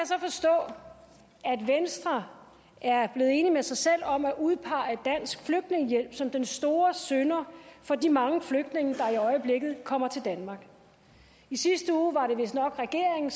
så forstå at venstre er blevet enig med sig selv om at udpege dansk flygtningehjælp som den store synder for de mange flygtninge der i øjeblikket kommer til danmark i sidste uge var det vistnok regeringen